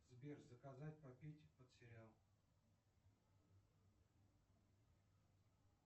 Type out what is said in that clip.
сбер заказать попить под сериал